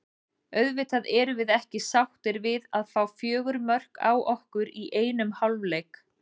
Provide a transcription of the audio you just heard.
Auðvitað erum við ekki sáttir við að fá fjögur mörk á okkur í einum hálfleik.